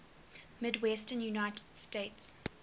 midwestern united states